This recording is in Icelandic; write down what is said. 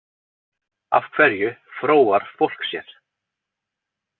Af hverju fróar fólk sér?